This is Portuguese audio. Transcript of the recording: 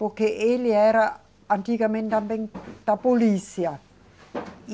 Porque ele era antigamente também da polícia, e